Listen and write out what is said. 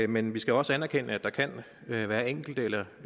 men vi skal også anerkende at der kan være enkelte eller